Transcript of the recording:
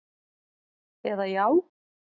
eða Já!